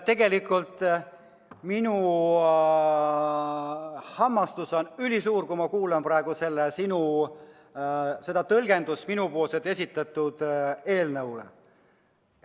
Tegelikult minu hämmastus on ülisuur, kui ma kuulan praegu sinu tõlgendust minu esitatud eelnõule.